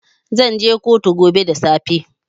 Zan je kotu gobe da safe.